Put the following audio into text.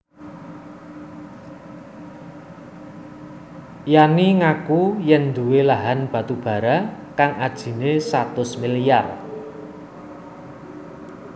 Yanni ngaku yèn nduwé lahan batubara kang ajiné satus milyar